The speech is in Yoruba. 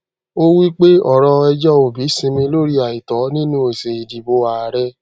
ó wí pé ọrọ ẹjọ obi sinmi lórí àìtọ nínú èsì ìdìbò ààrẹ